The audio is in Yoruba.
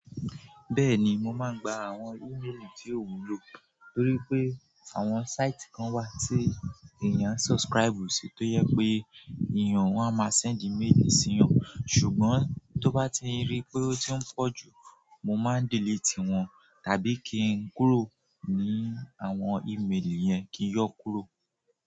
Bẹ́ẹ̀ni, mo máa ń gba àwọn e-mail tí ò wúlò torí pé àwọn site kan wà tí èèyàn subscribe sí tó jẹ pé èèyàn wọn a máa send e-mail sí wọn. Ṣùgbọ́n tó bá ti rí pé ó ti ń pọ̀ jù, mo máa delete wọ̀n tàbí kí n kúrò ní àwọn e-mail yẹn kí n yọ kúrò.